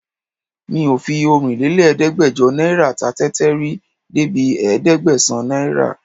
Mi ò fi ọ̀rinlélẹ́gbẹ́jọ náírà ta tẹ́tẹ́ rí débi ẹ̀ẹ́dẹ́gbẹ̀sán náírà